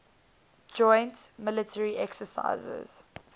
joint military exercises